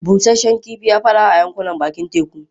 Busasshen kifi ya fi arha a yankunan bakin teku.